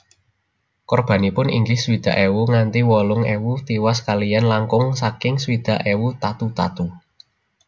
Korbanipun inggih swidak ewu nganti wolung ewu tiwas kaliyan langkung saking swidak ewu tatu tatu